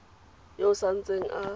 yo o sa ntseng a